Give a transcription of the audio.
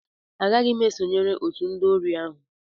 Agaghị m esonyere otu ndị ori ahụ